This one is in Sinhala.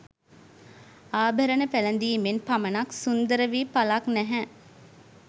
ආභරණ පැළඳීමෙන් පමණක් සුන්දර වී ඵලක් නැහැ.